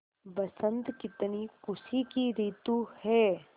बसंत कितनी खुशी की रितु है